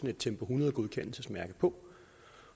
et tempo hundrede godkendelsesmærke på